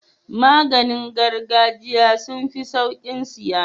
Maganin gargajiya sunfi saukin siya